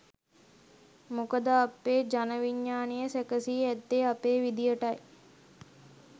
මොකද අපේ ජන විඥ්ඥානය සැකසී ඇත්තේ අපේ විදියටයි